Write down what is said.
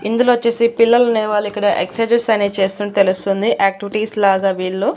ఇందులొచ్చేసి పిల్లలనేవాళ్ళు ఇక్కడ ఎక్సర్సైజస్ అనేవి చేస్తున్నట్టు తెలుస్తుంది యాక్టివిటీస్ లాగా వీళ్ళు.